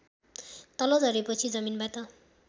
तल झरेपछि जमिनबाट